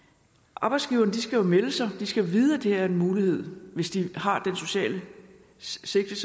og arbejdsgiverne skal jo melde sig de skal vide at det her er en mulighed hvis de har dette sociale sigte